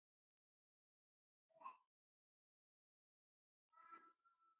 Ekki er það gott.